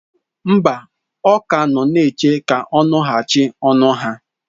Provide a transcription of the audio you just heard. Mba, ọ ka nọ na-eche ka ọ nụghachi n'ọnụ ha.